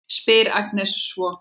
spyr Agnes svo.